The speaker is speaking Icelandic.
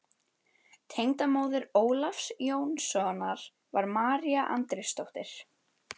Tengdamóðir Ólafs Jónssonar var María Andrésdóttir.